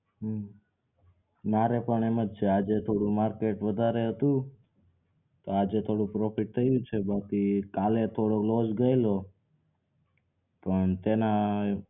નાં મારે પણ એમજ છે આજે થોડું market વધારે હતું તો આજે થોડું profit થયું છે બાકી કાલે થોડો loss ગયેલો પણ તેના